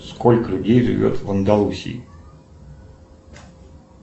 сколько людей живет в андалусии